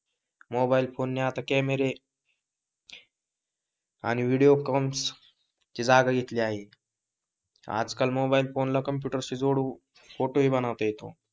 Mobile phone ने आता केमेरे आणि विडिओ कॉल्स ची जागा घेतली आहे. आज काळ मोबाईल फोन ला कॅम्पुटर ला जोडून फोटो हि बनवता येतो.